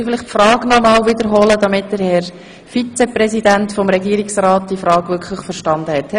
Können Sie bitte die Frage wiederholen, Herr Grossrat Leuenberger, damit der Vizepräsident des Regierungsrats die Frage wirklich versteht?